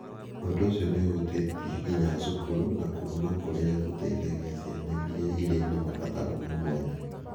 Ũndũ ũcio nĩ ũhutĩtie nginya cukuru na kũndũ kũrĩa gũteithagia ciana iria irĩ na mabataro ma mwanya.